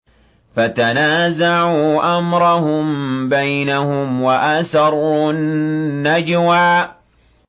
فَتَنَازَعُوا أَمْرَهُم بَيْنَهُمْ وَأَسَرُّوا النَّجْوَىٰ